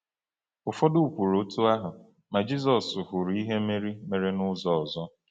Ụfọdụ kwuru otú ahụ, ma Jizọs hụrụ ihe Meri mere n’ụzọ ọzọ.